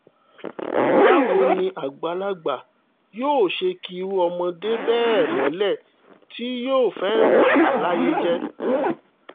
báwo ni àgbàlagbà yóò ṣe ki irú ọmọdé bẹ́ẹ̀ mọ́lẹ̀ tí yóò sì fẹ́ẹ́ bà á láyé jẹ́